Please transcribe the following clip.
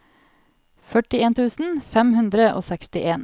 førtien tusen fem hundre og sekstien